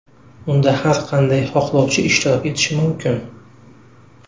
Unda har qanday xohlovchi ishtirok etishi mumkin.